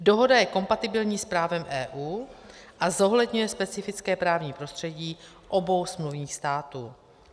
Dohoda je kompatibilní s právem EU a zohledňuje specifické právní prostředí obou smluvních států.